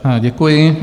Děkuji.